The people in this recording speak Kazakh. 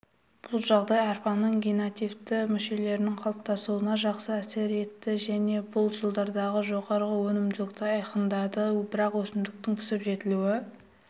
бұл жағдай арпаның генеративті мүшелерінің қалыптасуына жақсы әсер етті және бұл жылдардағы жоғары өнімділікті айқындады бірақ өсімдіктің пісіп-жетілуі